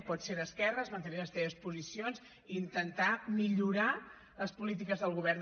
pots ser d’esquerres mantenir les teves posicions i intentar millorar les polítiques del govern